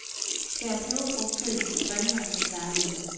Skær peberfrugtkødet i strimler eller terninger.